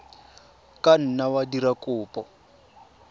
ka nna wa dira kopo